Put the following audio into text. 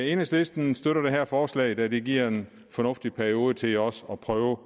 enhedslisten støtter det her forslag da det giver en fornuftig periode til også at prøve